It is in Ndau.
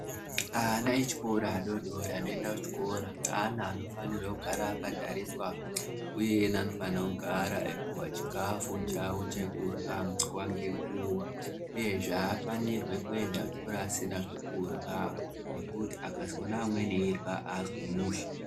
Ana echikora adodori anoende kuchikora ana anofanirwe kugara akatariswa uye anofana kugara eipiwe chikafu chawo chekurywa nguwa ngenguwa uyezve aafanirwi kuenda kuchikora asina zvekurywa ngekuti akazoona amweni eirywa aazwi mushe.